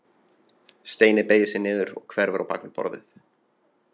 Steini beygir sig niður og hverfur bak við borðið.